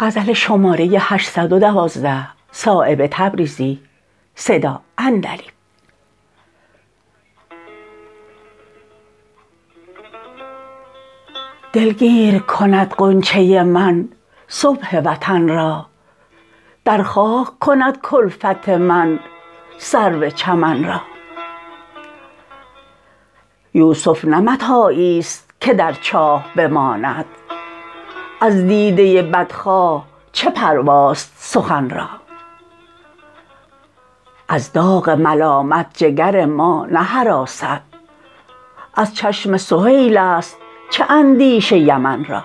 دلگیر کند غنچه من صبح وطن را در خاک کند کلفت من سرو چمن را یوسف نه متاعی است که در چاه بماند از دیده بدخواه چه پرواست سخن را از داغ ملامت جگر ما نهراسد از چشم سهیل است چه اندیشه یمن را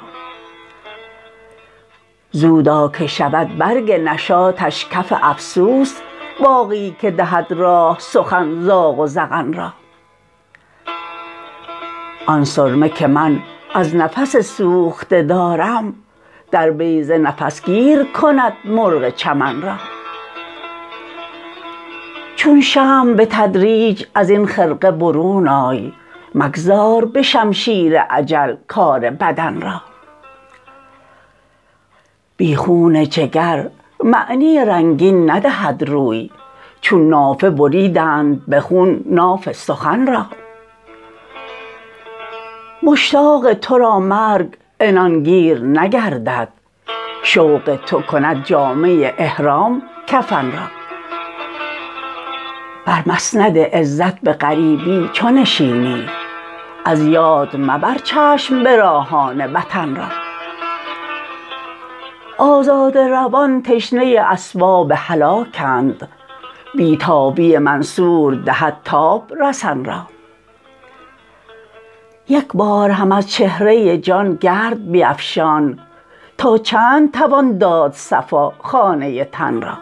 زودا که شود برگ نشاطش کف افسوس باغی که دهد راه سخن زاغ و زغن را آن سرمه که من از نفس سوخته دارم در بیضه نفس گیر کند مرغ چمن را چون شمع به تدریج ازین خرقه برون آی مگذار به شمشیر اجل کار بدن را بی خون جگر معنی رنگین ندهد روی چون نافه بریدند به خون ناف سخن را مشتاق ترا مرگ عنانگیر نگردد شوق تو کند جامه احرام کفن را بر مسند عزت به غریبی چو نشینی از یاد مبر چشم براهان وطن را آزاده روان تشنه اسباب هلاکند بی تابی منصور دهد تاب رسن را یک بار هم از چهره جان گرد بیفشان تا چند توان داد صفا خانه تن را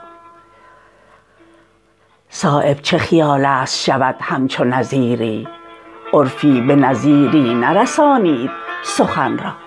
صایب چه خیال است شود همچو نظیری عرفی به نظیری نرسانید سخن را